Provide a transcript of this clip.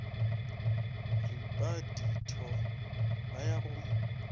ripa ditho ba ya go